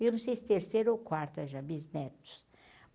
Eu não sei se terceira ou quarta já, bisnetos.